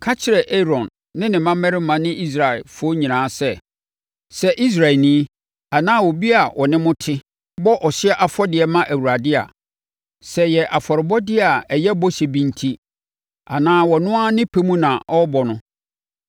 “Ka kyerɛ Aaron ne ne mmammarima ne Israelfoɔ nyinaa sɛ, ‘Sɛ Israelni anaa obi a ɔne mo te bɔ ɔhyeɛ afɔdeɛ ma Awurade a, sɛ ɛyɛ afɔrebɔdeɛ a ɛyɛ bɔhyɛ bi enti anaa ɔno ara ne pɛ mu na ɔrebɔ no,